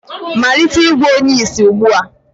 malite ịgwọ onye ìsì ugbu a!